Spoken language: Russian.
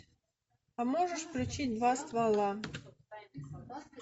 а можешь включить два ствола